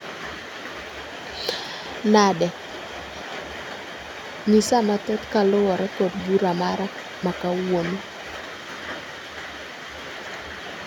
Nade? Nyisa mathoth kaluwore kod bura mara ma kawuono